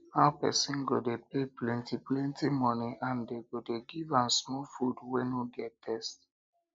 how person go dey pay plenty plenty money and dey go dey give am small food wey no get thirst